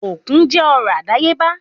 Òkun jẹ́ ọrọ̀ àdáyébá